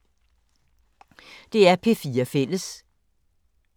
DR P4 Fælles